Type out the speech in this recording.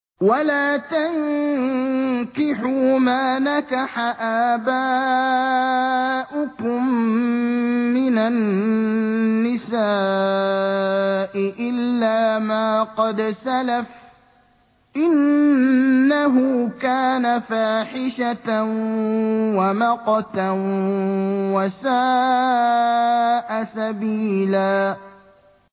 وَلَا تَنكِحُوا مَا نَكَحَ آبَاؤُكُم مِّنَ النِّسَاءِ إِلَّا مَا قَدْ سَلَفَ ۚ إِنَّهُ كَانَ فَاحِشَةً وَمَقْتًا وَسَاءَ سَبِيلًا